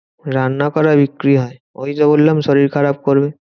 রান্না করা বিক্রি হয়। ওই তো বললাম শরীর খারাপ করবে।